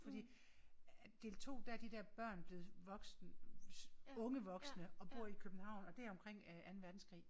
Fordi at del 2 der er de der børn blevet voksne unge voksne og bor i København og det er omkring Anden Verdenskrig